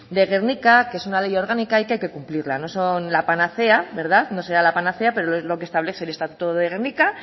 de gernika que es una ley orgánica y que hay que cumplirla no son la panacea no será la panacea pero es lo que establece el estatuto de gernika